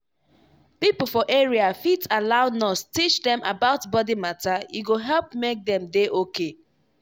people for area fit allow nurse teach dem about body matter e go help make dem dey okay.